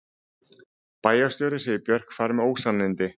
Bæjarstjóri segir Björk fara með ósannindi